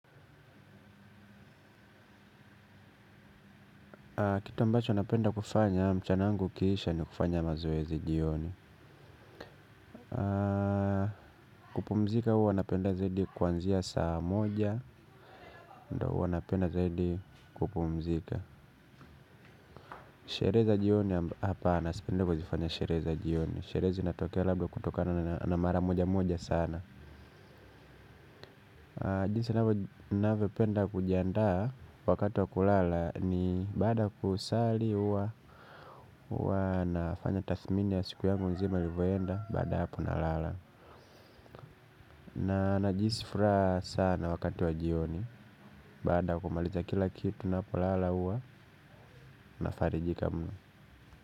Kitu ambacho napenda kufanya, mchana yangu ukiisha ni kufanya mazoezi jioni. Kupumzika huwa napenda zaidi kuanzia saa moja, ndo huwa napenda zaidi kupumzika. Sherehe za jioni hapana sipendi kuzifanya sherehe za jioni, sherehe zinatokea labda kutokana na mara moja moja sana. Jinsi navyopenda kujiandaa wakati wa kulala ni baada kusali uwa nafanya tasmini ya siku yangu zima irivoenda baada hapo nalala. Na najihisi furaha sana wakati wa jioni baada kumaliza kila kitu napolala uwa nafarijika muno.